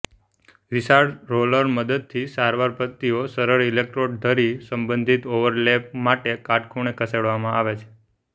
વિશાળ રોલર મદદથી સારવાર પદ્ધતિઓ સરળ ઇલેક્ટ્રોડ ધરી સંબંધિત ઓવરલેપ માટે કાટખૂણે ખસેડવામાં આવે છે